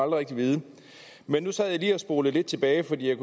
rigtig vide men nu sad jeg lige og spolede lidt tilbage fordi jeg